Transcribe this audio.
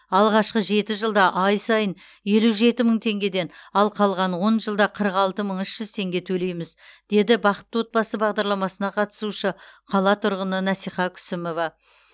алғашқы жеті жылда ай сайын елу жеті мың теңгеден қалған он жылда қырық алты мың үш жүз теңге төлейміз деді бақытты отбасы бағдарламасына қатысушы қала тұрғыны насиха күсімова